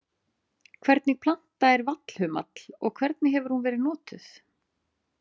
Hvernig planta er vallhumall og hvernig hefur hún verið notuð?